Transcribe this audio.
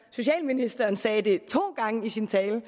socialministeren sagde det to gange i sin tale